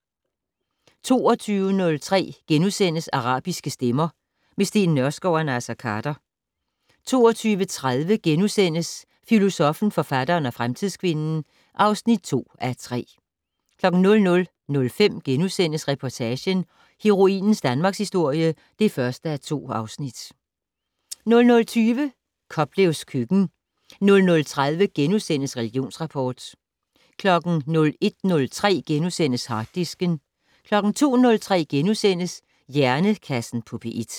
22:03: Arabiske stemmer - med Steen Nørskov og Naser Khader * 22:30: Filosoffen, forfatteren og fremtidskvinden (2:3)* 00:05: Reportagen: Heroinens danmarkshistorie (1:2)* 00:20: Koplevs køkken 00:30: Religionsrapport * 01:03: Harddisken * 02:03: Hjernekassen på P1 *